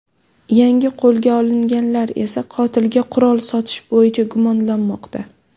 Yangi qo‘lga olinganlar esa qotilga qurol sotish bo‘yicha gumonlanmoqda.